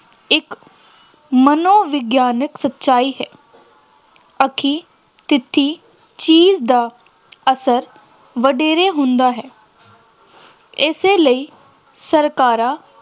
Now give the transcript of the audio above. ਇਕ ਮਨੋਵਿਗਿਆਨਕ ਸੱਚਾਈ ਹੈ ਅੱਖੀ ਡਿੱਠੀ ਚੀਜ਼ ਦਾ ਅਸਰ ਵਧੇਰੇ ਹੁੰਦਾ ਹੈ ਇਸੇ ਲਈ ਸਰਕਾਰਾਂ